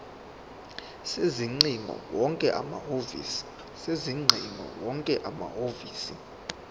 sezingcingo wonke amahhovisi